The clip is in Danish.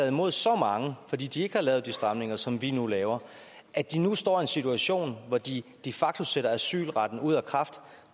imod så mange fordi de ikke har lavet de stramninger som vi nu laver at de nu står i en situation hvor de de facto sætter asylretten ud af kraft